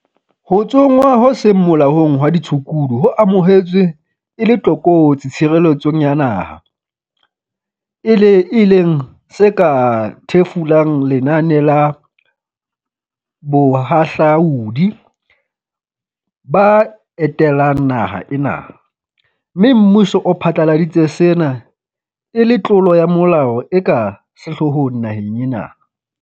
Ho tsongwa ho seng molaong hwa ditshukudu ho amohetswe e le tlokotsi tshireletsong ya naha, e le e leng se ka thefulang lenane la" bahahlaudi ba etelang naha ena, mme mmuso o phatlaladitse sena e le tlolo ya molao e ka sehloohong naheng ena.